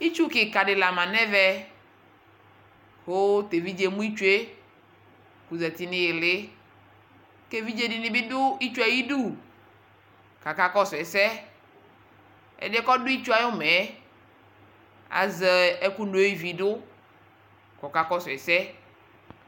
Itsu kikadi la ma nɛmɛ keviɖʒedi emu itsuekɔɔƶati niili keviɖʒe dinibi du itsue ãyidu kaka kɔsu ɛsɛƐdiɛ kɔdu itsʋ ayumɛyɛ aƶɛ ɛku no ividukɔkakɔsu ɛsɛ